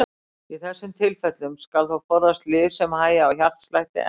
Í þessum tilfellum skal þó forðast lyf sem hægja á hjartslætti enn frekar.